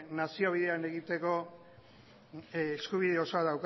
nazio bian egiteko eskubide osoa